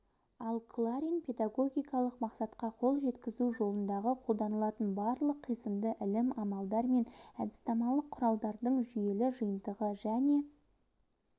ал кларин педагогикалық мақсатқа қол жеткізу жолындағы қолданылатын барлық қисынды ілім амалдар мен әдіснамалық құралдардың жүйелі жиынтығы және